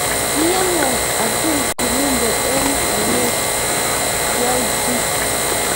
kiyonwon atul kurumbe eng' oinet kiaoitu